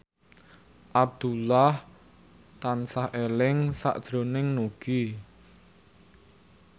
Abdullah tansah eling sakjroning Nugie